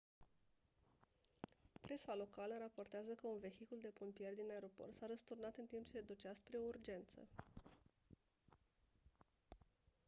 presa locală raportează că un vehicul de pompieri din aeroport s-a răsturnat în timp ce se ducea spre o urgență